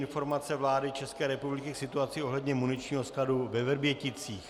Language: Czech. Informace vlády České republiky k situaci ohledně muničního skladu ve Vrběticích